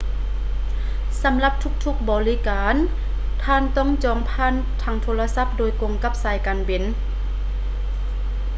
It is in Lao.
ສຳລັບທຸກໆບໍລິການ ທ່ານຕ້ອງຈອງຜ່ານທາງໂທລະສັບໂດຍກົງກັບສາຍການບິນ